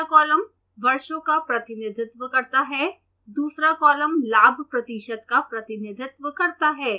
पहला कॉलम वर्षों का प्रतिनिधित्व करता है दूसरा कॉलम लाभ प्रतिशत का प्रतिनिधित्व करता है